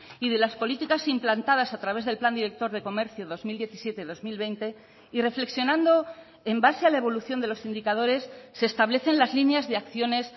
y de las políticas implantadas a través del plan director de comercio dos mil diecisiete dos mil veinte y reflexionando en base a la evolución de los indicadores se establecen las líneas de acciones